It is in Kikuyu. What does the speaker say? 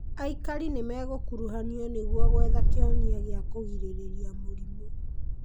Aikari nĩmegũkuruhanio nĩguo gwetha kĩhonia gĩa kũgirĩrĩria mũrimũ.